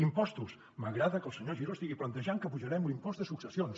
impostos m’agrada que el senyor giró estigui plantejant que apujarem l’impost de successions